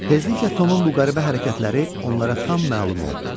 Tezliklə Tomun bu qəribə hərəkətləri onlara tam məlum oldu.